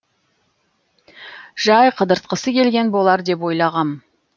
жай қыдыртқысы келген болар деп ойлағам